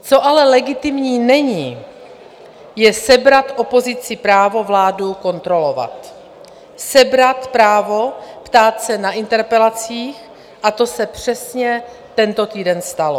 Co ale legitimní není, je sebrat opozici právo vládu kontrolovat, sebrat právo ptát se na interpelacích, a to se přesně tento týden stalo.